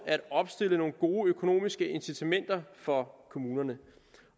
opstille nogle gode økonomiske incitamenter for kommunerne